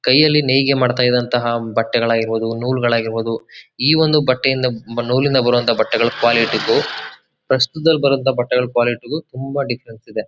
ಕೈಯಲ್ಲಿ ನೈಗೆ ಮಾಡ್ತಾ ಇದ್ದಂತಹ ಬಟ್ಟೆಗಳಿಗಾರ್ಬೋದು ನೂಲ್ಗಳಿರಬೊದು ಈ ಒಂದು ಬಟ್ಟೆಯನ್ನು ನೂಲಿನಿಂದ ಬರೋಹಾಂತ ಬಟ್ಟೆಗಳ ಕ್ವಾಲಿಟಿ ಗು ಪ್ರಸ್ತುತದಲ್ ಬರೋಹಾಂತ ಕ್ವಾಲಿಟಿ ಗು ತುಂಬಾ ದಿಫ್ಫ್ರೆಂಸ್ ಇದೆ.